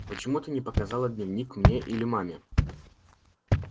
почему ты не показала дневник мне или маме